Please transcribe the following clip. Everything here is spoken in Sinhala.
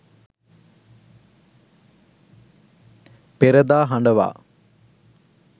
perada hadawa